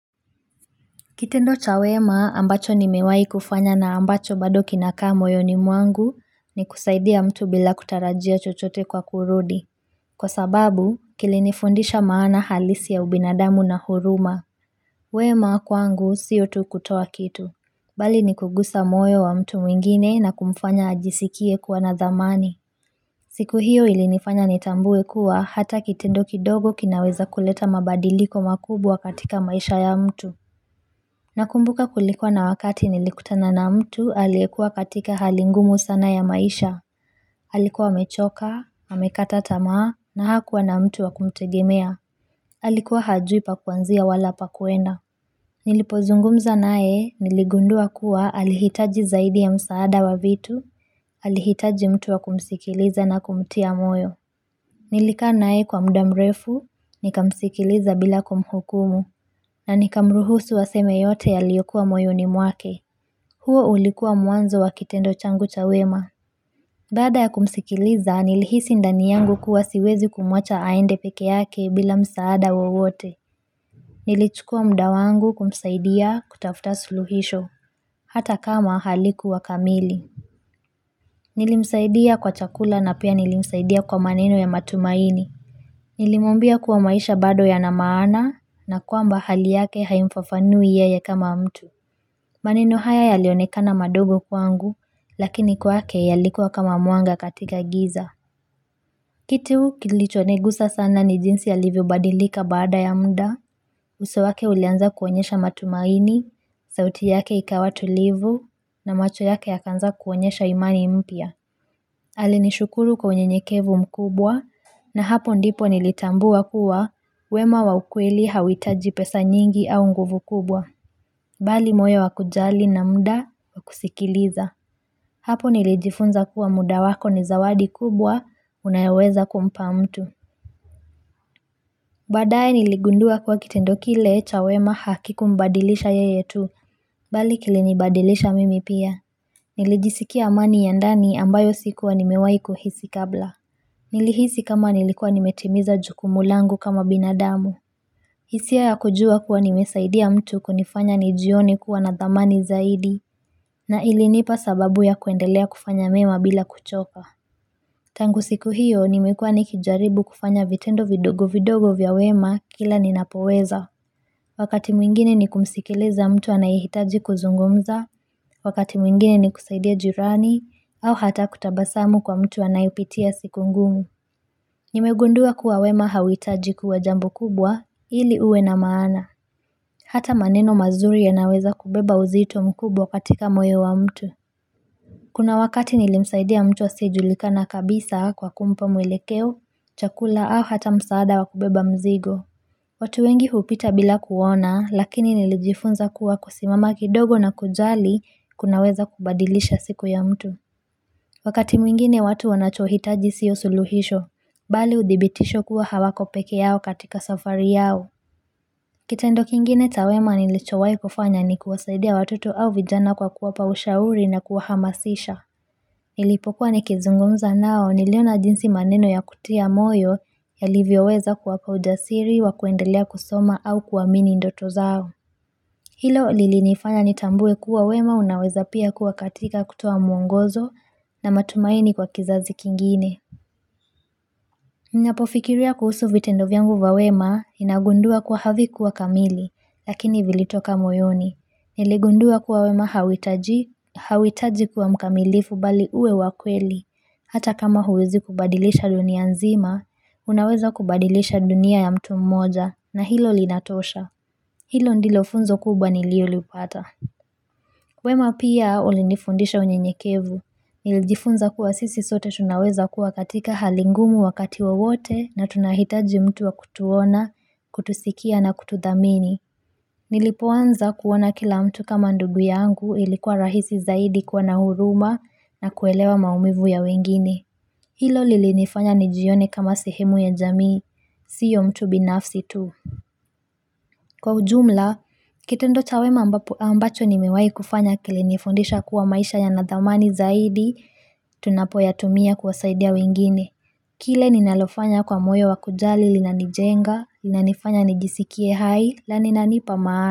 Kitendo cha wema ambacho nimewahi kufanya na ambacho bado kinakaa moyoni mwangu ni kusaidia mtu bila kutarajia chochote kwa kurudi. Kwa sababu kilinifundisha maana halisi ya ubinadamu na huruma. Wema kwangu sio tu kutoa kitu. Bali ni kugusa moyo wa mtu mwingine na kumfanya ajisikie kuwa na thamani. Siku hiyo ilinifanya nitambue kuwa hata kitendo kidogo kinaweza kuleta mabadiliko makubwa katika maisha ya mtu. Nakumbuka kulikuwa na wakati nilikutana na mtu, alikuwa katika hali ngumu sana ya maisha, alikuwa amechoka, amekata tama, na hakuwa na mtu wa kumtegemea, alikuwa hajui pa kwanzia wala pa kwenda. Nilipozungumza naye, niligundua kuwa alihitaji zaidi ya msaada wa vitu, alihitaji mtu wa kumsikiliza na kumtia moyo. Nilikaa naye kwa muda mrefu, nikamsikiliza bila kumhukumu na nikamruhusu aseme yote yaliyokuwa moyoni mwake huo ulikuwa mwanzo wa kitendo changu cha wema Baada ya kumsikiliza, nilihisi ndani yangu kuwa siwezi kumwacha aende peke yake bila msaada wowote Nilichukua muda wangu kumsaidia, kutafuta suluhisho. Hata kama halikuwa kamili Nilimsaidia kwa chakula na pia nilimsaidia kwa maneno ya matumaini Nilimwambia kuwa maisha bado ya na maana na kwamba hali yake haimfafanui yeye kama mtu maneno haya yalionekana madogo kwangu lakini kwake yalikuwa kama mwanga katika giza kitu kilichonigusa sana ni jinsi alivyobadilika baada ya muda uso wake ulianza kuonyesha matumaini, sauti yake ikawa tulivu na macho yake yakaanza kuonyesha imani mpya alinishukuru kwa unyenyekevu mkubwa na hapo ndipo nilitambua kuwa wema wa ukweli hauhitaji pesa nyingi au nguvu kubwa. Bali moyo wa kujali na muda wa kusikiliza. Hapo nilijifunza kuwa muda wako ni zawadi kubwa unayoweza kumpa mtu. Baadaye niligundua kuwa kitendo kile cha wema hakikumbadilisha yeye tu. Bali kilinibadilisha mimi pia. Nilijisikia amani ya ndani ambayo sikuwa nimewahi kuhisi kabla. Nilihisi kama nilikuwa nimetimiza jukumu langu kama binadamu hisia ya kujua kuwa nimesaidia mtu kunifanya nijione kuwa na thamani zaidi na ilinipa sababu ya kuendelea kufanya mema bila kuchoka Tangu siku hiyo nimekuwa nikijaribu kufanya vitendo vidogo vidogo vya wema kila ninapoweza Wakati mwingine ni kumsikiliza mtu anayehitaji kuzungumza Wakati mwingine ni kusaidia jirani au hata kutabasamu kwa mtu anayepitia siku ngumu Nimegundua kuwa wema hauhitaji kuwa jambo kubwa ili uwe na maana Hata maneno mazuri yanaweza kubeba uzito mkubwa katika moyo wa mtu Kuna wakati nilimsaidia mtu asiyejulikana kabisa kwa kumpa mwelekeo, chakula au hata msaada wa kubeba mzigo watu wengi hupita bila kuona lakini nilijifunza kuwa kusimama kidogo na kujali kunaweza kubadilisha siku ya mtu Wakati mwingine watu wanachohitaji sio suluhisho, bali udhibitisho kuwa hawako peke yao katika safari yao. Kitendo kingine cha wema nilichowahi kufanya ni kuwasaidia watoto au vijana kwa kuwapa ushauri na kuwahamasisha. Nilipokuwa nikizungumza nao niliona jinsi maneno ya kutia moyo yalivyoweza kuwa kwa ujasiri wa kuendelea kusoma au kuamini ndoto zao. Hilo lilinifanya nitambue kuwa wema unaweza pia kuwa katika kutoa mwongozo na matumaini kwa kizazi kingine. Ninapofikiria kuhusu vitendo vyangu vya wema ninagundua kwa havikuwa kamili, lakini vilitoka moyoni. Niligundua kuwa wema hauhitaji kuwa mkamilifu bali uwe wa kweli. Hata kama huwezi kubadilisha dunia nzima, unaweza kubadilisha dunia ya mtu mmoja na hilo linatosha. Hilo ndilo funzo kubwa nililolipata. Wema pia ulinifundisha unyenyekevu. Nilijifunza kuwa sisi sote tunaweza kuwa katika hali ngumu wakati wowote na tunahitaji mtu wa kutuona, kutusikia na kutudhamini. Nilipoanza kuona kila mtu kama ndugu yangu ilikuwa rahisi zaidi kuwa na huruma nakuelewa maumivu ya wengine. Hilo lilinifanya nijione kama sehemu ya jamii. Sio mtu binafsi tu. Kwa ujumla, kitendo cha wema ambacho nimewahi kufanya kilinifundisha kuwa maisha yana dhamani zaidi, tunapoyatumia kuwasaidia wengine. Kile ninalofanya kwa moyo wa kujali linanijenga, linanifanya nijisikie hai, na linanipa maana.